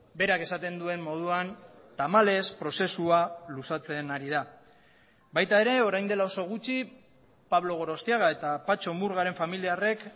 berak esaten duen moduan tamalez prozesua luzatzen ari da baita ere orain dela oso gutxi pablo gorostiaga eta patxo murgaren familiarrek